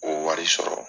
O wari sɔrɔ